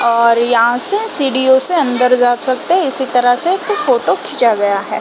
और यहाँ से सिढीयों से अंदर जा सकते है इसी तरह से एक ठो फोटो खींचा गया हैं |